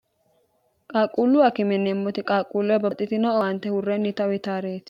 qaaqquullu akime yineemmoti qaaqquulleho babaxxitino owaante huurrennita utaareeti